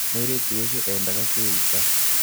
Mũirĩtu ũcio eendaga kwĩita.